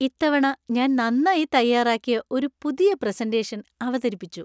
ഇത്തവണ ഞാൻ നന്നായി തയ്യാറാക്കിയ ഒരു പുതിയ പ്രസന്‍റേഷൻ അവതരിപ്പിച്ചു.